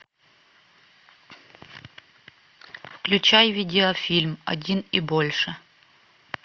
включай видеофильм один и больше